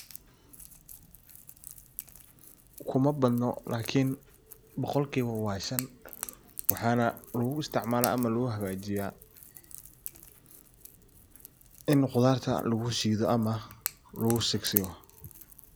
Kumaa badno lakin boqolkiba waa shan, waxana lugu isticmala ama lagu hagajiya ini khudarta lagu shido ama lagu sigsigo.